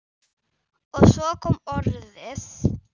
Og svo kom orðið